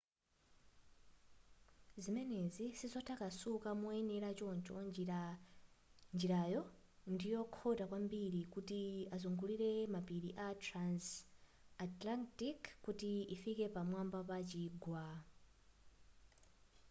zimenezi sizotakasuka moyenera choncho njirayo ndiyokhota kwambiri kuti ikazungulire mapiri a transantarctic kuti ikafike pa mwamba pa chigwa